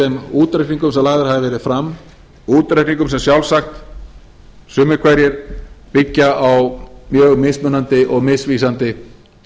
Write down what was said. þeim útreikningum sem lagðir hafa verið fram útreikningum sem sjálfsagt sumir hverjir byggja á mjög mismunandi og misvísandi